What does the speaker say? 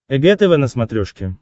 эг тв на смотрешке